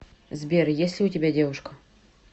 сбер есть ли у тебя девушка